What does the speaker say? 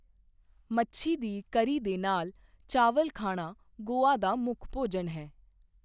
ਮੱਛੀ ਦੀ ਕਰੀ ਦੇ ਨਾਲ ਚਾਵਲ ਖਾਣਾ ਗੋਆ ਦਾ ਮੁੱਖ ਭੋਜਨ ਹੈ।